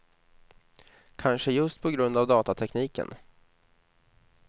Kanske just på grund av datatekniken.